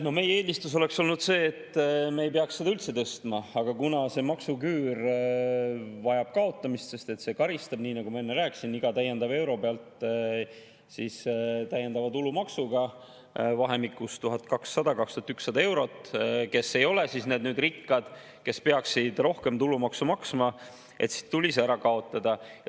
No meie eelistus oleks olnud see, et me ei peaks seda üldse tõstma, aga kuna maksuküür vajab kaotamist, sest see karistab neid – nii nagu ma enne rääkisin, iga täiendava euro pealt täiendava tulumaksuga vahemikus 1200–2100 eurot –, kes ei ole rikkad, kes peaksid rohkem tulumaksu maksma, siis tuli see ära kaotada.